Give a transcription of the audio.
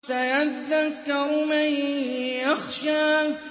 سَيَذَّكَّرُ مَن يَخْشَىٰ